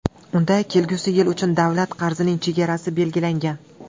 Unda kelgusi yil uchun davlat qarzining chegarasi belgilangan.